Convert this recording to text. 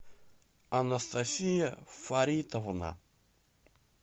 анастасия фаритовна